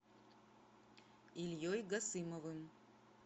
ильей гасымовым